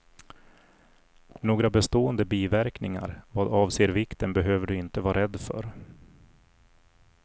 Några bestående biverkningar vad avser vikten behöver du inte vara rädd för.